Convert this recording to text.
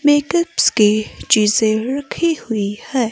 Makeups की चीजें रखी हुई हैं।